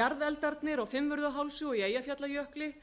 jarðeldarnir á fimmvörðuhálsi og í eyjafjallajökli